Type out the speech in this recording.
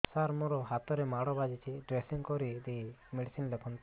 ସାର ମୋ ହାତରେ ମାଡ଼ ବାଜିଛି ଡ୍ରେସିଂ କରିଦେଇ ମେଡିସିନ ଲେଖନ୍ତୁ